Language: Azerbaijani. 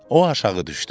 O aşağı düşdü.